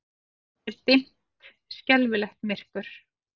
Svo er dimmt, skelfilegt myrkur.